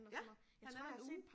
Ja han er der i 1 uge